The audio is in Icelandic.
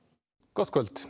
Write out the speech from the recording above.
gott kvöld